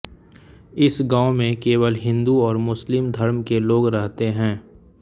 इस गाँव में केवल हिन्दू और मुस्लिम धर्म के लोग रहते हैं